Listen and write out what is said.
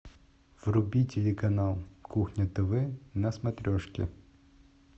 вруби телеканал кухня тв на смотрешке